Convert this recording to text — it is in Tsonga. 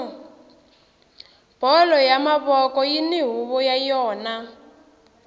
bolo ya mavoko yini huvo ya yona